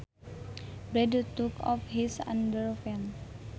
Brad took off his underpants